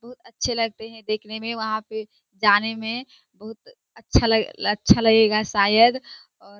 बहुत अच्छे लगते हैं देखने मैं। वहाँ पे जाने मैं बहुत अच्छा लगे अच्छा लगेगा शायद और --